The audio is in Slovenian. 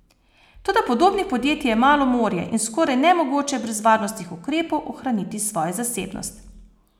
Toda podobnih podjetij je malo morje in skoraj nemogoče je brez varnostnih ukrepov ohraniti svojo zasebnost.